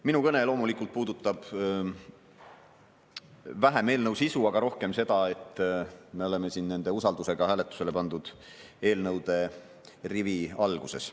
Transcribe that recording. Minu kõne loomulikult puudutab vähem eelnõu sisu, aga rohkem seda, et me oleme siin nende usaldusküsimusega hääletusele pandud eelnõude rivi alguses.